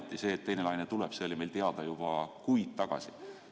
Ja ometi see, et teine laine tuleb, oli meil teada juba kuid tagasi.